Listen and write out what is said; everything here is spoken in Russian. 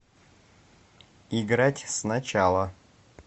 играть сначала